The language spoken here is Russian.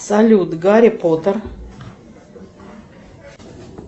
салют гарри поттер